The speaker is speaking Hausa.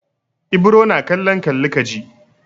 Ibro na kallon kalli ka ji.